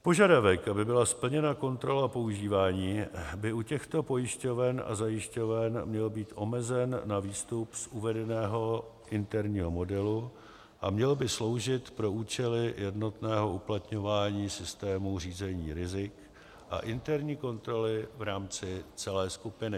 Požadavek, aby byla splněna kontrola používání, by u těchto pojišťoven a zajišťoven měl být omezen na výstup z uvedeného interního modelu a měl by sloužit pro účely jednotného uplatňování systémů řízení rizik a interní kontroly v rámci celé skupiny.